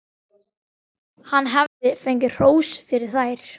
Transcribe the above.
Hann hafði fengið hrós fyrir þær.